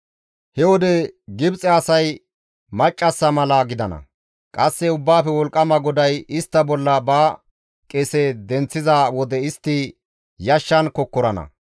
He wode Gibxe asay maccassa mala gidana. Qasse Ubbaafe Wolqqama GODAY istta bolla ba qese denththiza wode istti yashshan kokkorana.